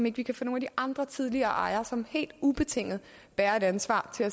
ikke kan få nogle af de andre tidligere ejere som helt ubetinget bærer et ansvar